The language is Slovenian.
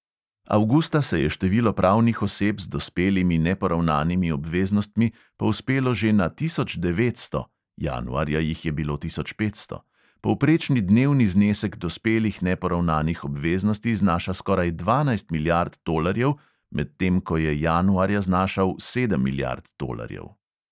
Avgusta se je število pravnih oseb z dospelimi neporavnanimi obveznostmi povzpelo že na tisoč devetsto (januarja jih je bilo tisoč petsto), povprečni dnevni znesek dospelih neporavnanih obveznosti znaša skoraj dvanajst milijard tolarjev, medtem ko je januarja znašal sedem milijard tolarjev.